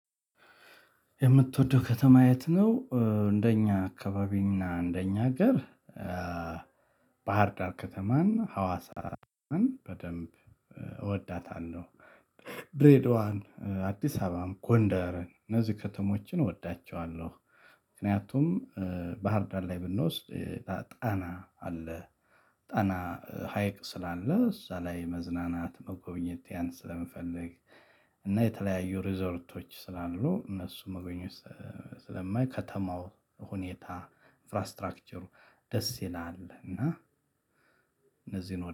የምትወደው ከተማ የት? ነው እንደኛ አካባቢና እንደኛ ሀገር ባህር ዳር ከተማን ሀዋሳን በደንብ እወዳታለሁ። ድሬዳዋን አዲስ አበባም ጎንደርን እነዚህ ከተሞችን እወዳቸዋለሁ። ምክንያቱም ባህርዳር ላይ ብንወስድ ጣና አለ ጣና ሀይቅ ስላለ እዛ ላይ መዝናናት መጎብኘት ያን ስለምፈልግ። እና የተለያዩ ሪዞርቶች ስላሉ እነሱን መጎብኘት ስለማይ ከተማው ሁኔታ ኢንፍራስትራክቸሩ ደስ ይላል። እና እነዚህን